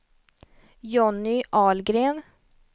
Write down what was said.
Johnny Ahlgren